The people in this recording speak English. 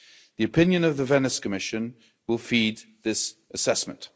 The opinion of the Venice Commission will feed this assessment.